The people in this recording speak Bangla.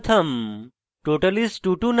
total is: 229